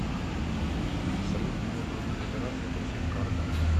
салют мне нужно узнать операции по всем картам